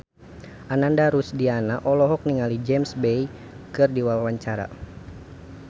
Ananda Rusdiana olohok ningali James Bay keur diwawancara